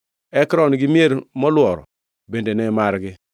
Ekron gi mier molworo bende ne margi.